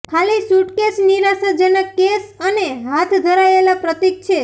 ખાલી સુટકેસ નિરાશાજનક કેસ અને હાથ ધરાયેલા પ્રતીક છે